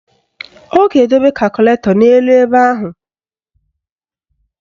Ọ ga-edobe kakụlatọ n'elu ebe ahụ